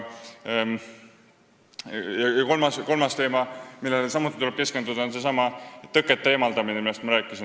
Ja kolmas teema, millele tuleb ka keskenduda, on seesama tõkete eemaldamine, millest ma rääkisin.